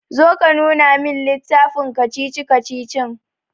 Zo ka nuna min littafin kacici-kacicicin.